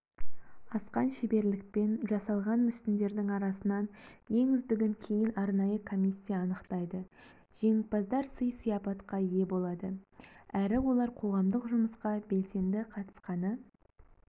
асқан шеберлікпен жасалған мүсіндердің арасынан ең үздігін кейін арнайы комиссия анықтайды жеңімпаздар сый-сияпатқа ие болады әрі олар қоғамдық жұмысқа белсенді қатысқаны